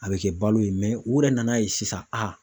A be kɛ balo ye mɛ u yɛrɛ nan'a ye sisan a